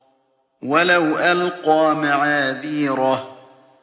وَلَوْ أَلْقَىٰ مَعَاذِيرَهُ